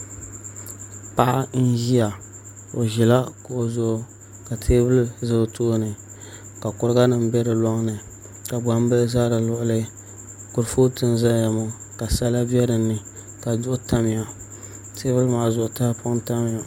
Paɣa n ʒiya o ʒila kuɣu zuɣu ka teebuli ʒɛ o tooni ka kuriga nim bɛ di loŋni ka gbambihi ʒɛ di luɣuli kurifooti n ʒɛya ŋo ka sala bɛ dinni ka duɣu tamya teebuli maa zuɣu tahapoŋ n tamya